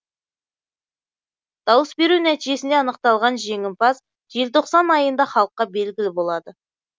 дауыс беру нәтижесінде анықталған жеңімпаз желтоқсан айында халыққа белгілі болады